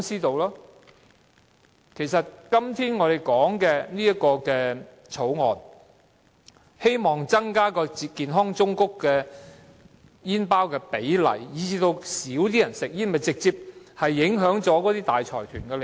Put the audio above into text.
政府今天提出修訂命令，希望擴大健康忠告圖像佔煙包的比例，從而減少市民吸煙，此舉會直接影響大財團的利益。